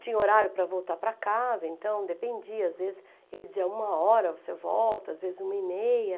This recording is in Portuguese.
Tinha horário para voltar para casa, então dependia, às vezes ele dizia uma hora você volta, às vezes uma e meia.